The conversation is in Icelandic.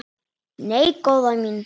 Nei, góða mín.